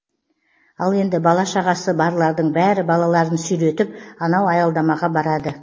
ал енді бала шағасы барлардың бәрі балаларын сүйретіп анау аялдамаға барады